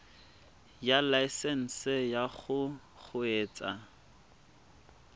ya laesesnse ya go kgweetsa